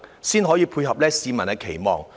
這樣才符合市民的期望。